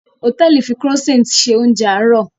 Hòtẹ́ẹ̀lì fi Croissant ṣe oúnjẹ àárọ̀